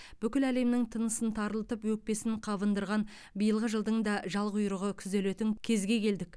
бүкіл әлемнің тынысын тарылтып өкпесін қабындырған биылғы жылдың да жал құйрығы күзелетін кезге келдік